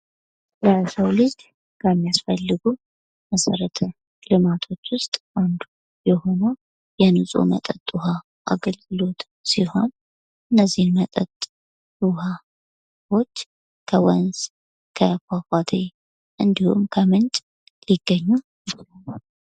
ለሰው ልጅ ከሚያስፈልጉ መሰረተ ልማቶች ውስጥ አንዱ የሆነው የንፅህ ውሀ አገልግሎት ሲሆን እነዚህ መጠጥ ውሃዎች ከወንዝ ፣ ከፏፏቴ እንዲሁም ከምንጭ ሊገኙ ይችላሉ ።